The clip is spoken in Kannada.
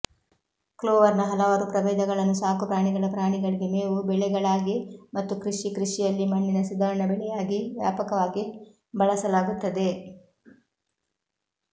ಕ್ಲೋವರ್ನ ಹಲವಾರು ಪ್ರಭೇದಗಳನ್ನು ಸಾಕುಪ್ರಾಣಿಗಳ ಪ್ರಾಣಿಗಳಿಗೆ ಮೇವು ಬೆಳೆಗಳಾಗಿ ಮತ್ತು ಕೃಷಿ ಕೃಷಿಯಲ್ಲಿ ಮಣ್ಣಿನ ಸುಧಾರಣಾ ಬೆಳೆಯಾಗಿ ವ್ಯಾಪಕವಾಗಿ ಬಳಸಲಾಗುತ್ತದೆ